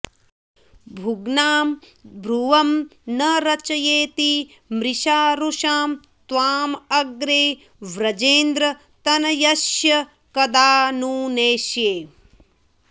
भुग्नां भ्रुवं न रचयेति मृषारुषां त्वां अग्रे व्रजेन्द्रतनयस्य कदा नु नेष्ये